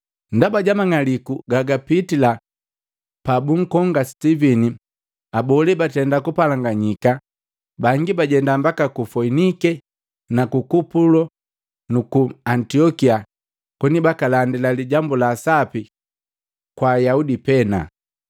Ndaba jamang'aliku gagapitila pabunkoma Sitivini, abole batenda kupalaganyika. Bangi bajenda mbaka ku Foinike, ku Kupulo nuku Antiokia koni bakalandila lijambu la sapi kwaka Ayaudi pena.